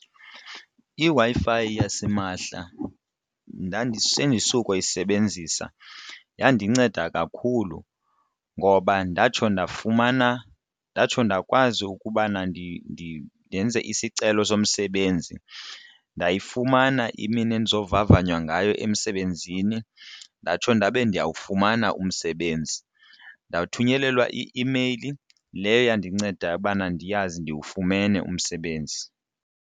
IWi-Fi yasimahla sendisuka uyisebenzisa yandinceda kakhulu ngoba ndatsho ndafumana ndatsho ndakwazi ukubana ndenze isicelo somsebenzi ndayifumana imini endizovavanywa ngayo emsebenzini ndatsho ndabe ndiyawufumana umsebenzi. Ndathunyelelwa i-imeyili leyo yandinceda ubana ndiyazi ndiwufumene umsebenzi.